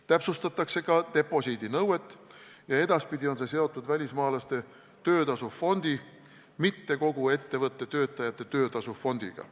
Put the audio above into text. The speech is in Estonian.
Täpsustatakse ka deposiidinõuet ja edaspidi on see seotud välismaalaste töötasu fondiga, mitte kogu ettevõtte töötajate töötasu fondiga.